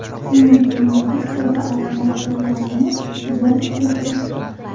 Shuning uchun magistr va ordinatorlarni jalb qilishyapti.